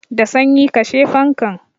Da sanyi, kashe fankan!